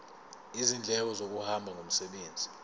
izindleko zokuhamba ngomsebenzi